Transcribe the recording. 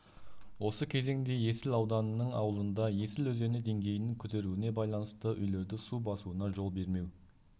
осы кезеңде есіл ауданының ауылында есіл өзені деңгейінің көтерірілуіне байланысты үйлерді су басуына жол бермеу